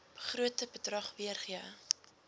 begrote bedrag weergee